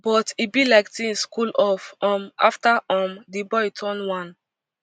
but e be like tinz cool off um afta um di boy turn one